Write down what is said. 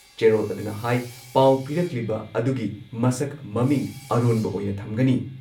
ꯆꯦꯔꯣꯜ ꯑꯗꯨꯅ ꯍꯥꯏ ꯄꯥꯎ ꯄꯤꯔꯛꯂꯤꯕ ꯑꯗꯨꯒꯤ ꯃꯁꯛ ꯃꯃꯤꯡ ꯑꯔꯣꯟꯕ ꯑꯣꯏꯅ ꯊꯝꯒꯅꯤ ꯫